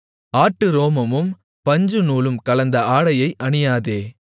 ஆட்டுரோமமும் பஞ்சுநூலும் கலந்த ஆடையை அணியாதே